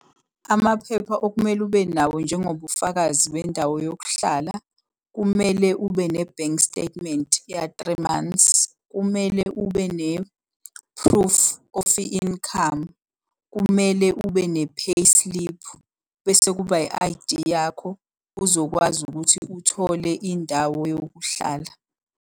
Amaphepha okumele ube nawo njengobufakazi bendawo yokuhlala, kumele ube ne-bank statement ya-three months. Kumele ube ne-proof of i-income. Kumele ube ne-payslip. Bese kuba i-I_D yakho. Uzokwazi ukuthi uthole indawo yokuhlala.